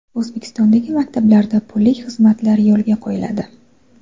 O‘zbekistondagi maktablarda pullik xizmatlar yo‘lga qo‘yiladi.